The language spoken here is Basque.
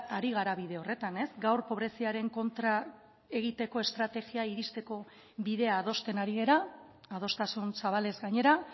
ari gara bide horretan ez gaur pobreziaren kontra egiteko estrategia iristeko bidea adosten ari gara adostasun zabalez gainera